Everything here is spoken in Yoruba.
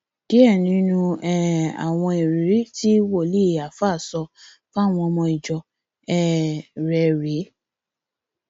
díẹ nínú um àwọn ìrírí tí wòlíì alfa sọ fáwọn ọmọ ìjọ um rẹ rèé